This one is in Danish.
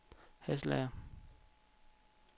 Hasselager